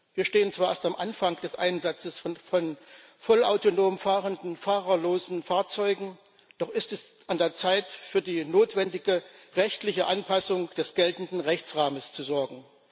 Wir stehen zwar erst am Anfang des Einsatzes von vollautonom fahrenden, fahrerlosen Fahrzeugen, doch ist es an der Zeit, für die notwendige rechtliche Anpassung des geltenden Rechtsrahmens zu sorgen.